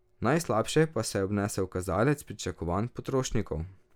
Najslabše pa se je obnesel kazalec pričakovanj potrošnikov.